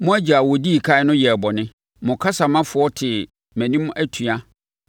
Mo agya a ɔdii ɛkan no yɛɛ bɔne; mo kasamafoɔ tee mʼanim atua.